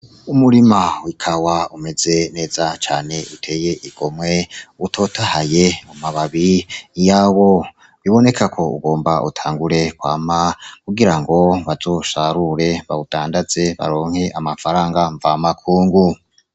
Umurima w'ikawa umeze neza cane, uteye igomwe, utotahaye. Amababi yawo biboneka ko ugomba utangure kwama kugira ngo bazosarure , badandaze, baronke amafaranga mvamakungu.